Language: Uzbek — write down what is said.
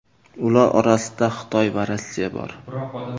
Ular orasida Xitoy va Rossiya bor.